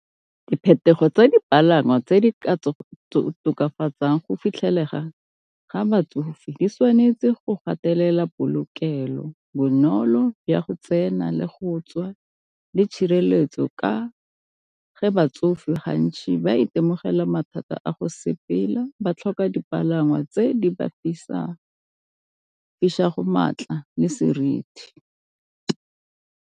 Diphetogo tsa dipalangwa tse di ka tokafatsang go fitlhelelaga ga batsofe di tshwanetse go gatelela polokelo, bonolo ya go tsena le go tswa, le tshireletso ka ge batsofe gantsi ba itemogela mathata a go sepela ba tlhoka dipalangwa tse di ba maatla le seriti.